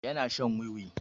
Yana shan wiwi.